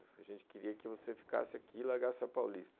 A gente queria que você ficasse aqui e largasse a Paulista.